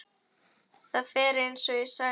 Það fer eins og ég sagði.